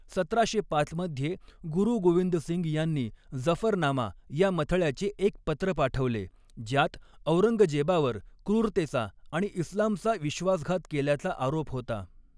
सतराशे पाच मध्ये, गुरु गोविंद सिंग यांनी जफरनामा या मथळ्याचे एक पत्र पाठवले, ज्यात औरंगजेबावर क्रूरतेचा आणि इस्लामचा विश्वासघात केल्याचा आरोप होता.